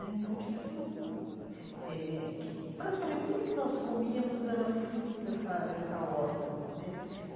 Né então tinha tudo eh que... Praticamente tudo que nós comíamos era fruto dessa dessa horta né.